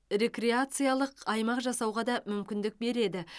рекреациялық аймақ жасауға да мүмкіндік береді